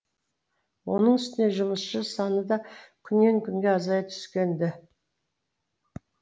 оның үстіне жұмысшы саны да күннен күнге азая түскен ді